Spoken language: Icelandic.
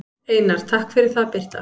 Einar: Takk fyrir það Birta.